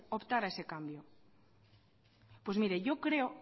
optar a ese cambio pues mire yo creo